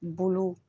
Bolo